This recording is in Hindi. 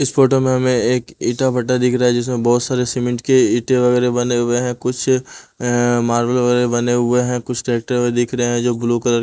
इस फोटो में हमें एक ईटा भट्टा दिख रहा है जिसमें बहोत सारे सीमेंट के ईटे वगैरह बने हुए हैं कुछ अअ मार्बल बने हुए हैं कुछ ट्रैक्टर दिख रहे हैं जो ब्लू कलर --